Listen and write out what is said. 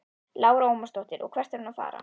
Lára Ómarsdóttir: Og hvert er hún að fara?